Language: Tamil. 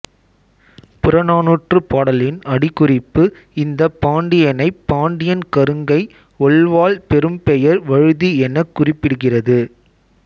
புறநானூற்றுப் பாடலின் அடிக்குறிப்பு இந்தப் பாண்டியனைப் பாண்டியன் கருங்கை ஒள்வாள் பெரும்பெயர் வழுதி எனக் குறிப்பிடுகிறது